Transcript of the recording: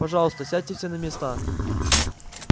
пожалуйста сядьте все на места